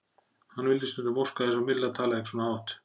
Hann vildi stundum óska þess að Milla talaði ekki svona hátt.